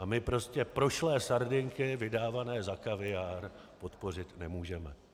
A my prostě prošlé sardinky vydávané za kaviár podpořit nemůžeme.